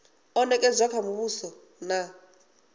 o nekedzwa kha muvhuso na